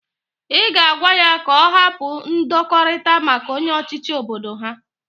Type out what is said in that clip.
I ga agwa ya ka o hapu ndokorita maka onye ochichi obodo ha.